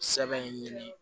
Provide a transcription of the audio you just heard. Sɛbɛn ɲini